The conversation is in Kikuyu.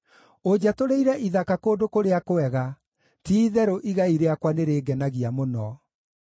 Ũnjatũrĩire ithaka kũndũ kũrĩa kwega; ti-itherũ igai rĩakwa nĩrĩngenagia mũno.